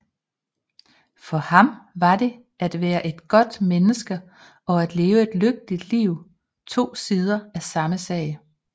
For ham var det at være et godt menneske og at leve et lykkeligt liv to sider af samme sag